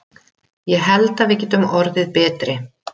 Ég held að við getum orðið betri.